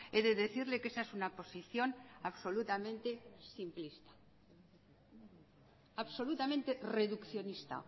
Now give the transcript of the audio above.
he de decirle que esa es una posición absolutamente simplista absolutamente reduccionista